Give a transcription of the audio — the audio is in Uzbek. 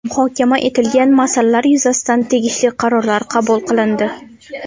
Muhokama etilgan masalalar yuzasidan tegishli qarorlar qabul qilindi.